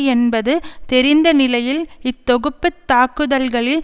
என்பது தெரிந்த நிலையில் இத்தொகுப்புத் தாக்குதல்களில்